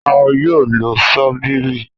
A yoo lo ṣóbìrì.